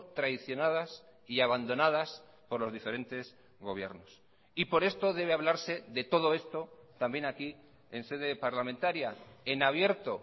traicionadas y abandonadas por los diferentes gobiernos y por esto debe hablarse de todo esto también aquí en sede parlamentaria en abierto